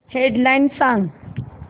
head lines सांग